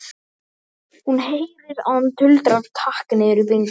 Hún heyrir að hann tuldrar takk niður í bringuna.